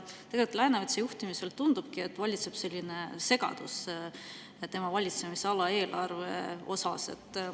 Läänemetsa juhtimisel, tundub, valitsebki selline segadus tema valitsemisala eelarvega.